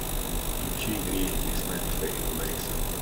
включи греет весна михаила борисова